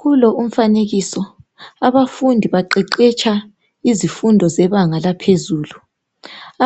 Kulo umfanekiso, abafundi baqeqetsha izifundo zebanga laphezulu.